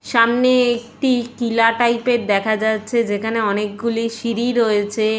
সামনে একটি টিলা টাইপ এর দেখা যাচ্ছে যেখানে অনেকগুলি সিঁড়ি রয়েছে।